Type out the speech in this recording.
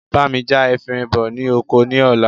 Bá mi já efinrin bọ ní oko ní ọ̀la